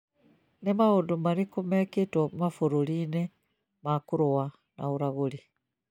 Nĩ maũndũ marĩkũ mekĩtwo mabũrũri-inĩ ma kũrũa na ũragũri